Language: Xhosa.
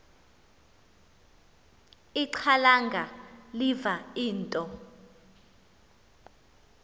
ixhalanga liva into